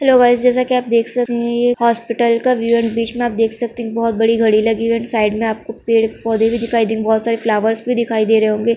Hello guys जेसे की आप देख सकते है ये एक अस्पताल का व्यू है बीच मे आप देख सकते है की बहुत बड़ी घड़ी लागि हुई है एण्ड साइड मे आपको पेड़ पोद है भी दिखाई दे रहे बहुत सारे फ्लावर्स भी दिखाई दे रहे होंगे।